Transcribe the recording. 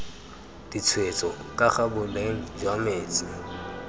ditshwetso kaga boleng jwa metsi